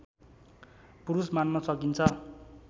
पुरुष मान्न सकिन्छ